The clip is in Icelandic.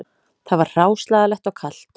Það var hráslagalegt og kalt